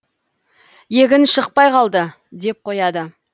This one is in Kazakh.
егін шықпай қалды деп қояды